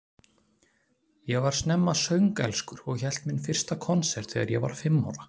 Ég var snemma söngelskur og hélt minn fyrsta konsert þegar ég var fimm ára.